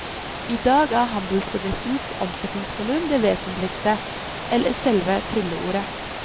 I dag er handelsbedriftens omsetningsvolum det vesentligste, eller selve trylleordet.